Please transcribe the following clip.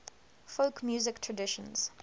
folk music traditions